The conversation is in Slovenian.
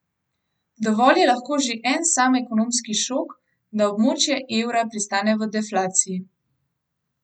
Dovolj je lahko že en sam ekonomski šok, da območje evra pristane v deflaciji.